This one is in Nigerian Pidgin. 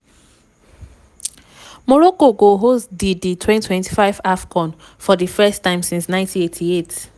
morocco go host di di 2025 afcon for di first time since 1988.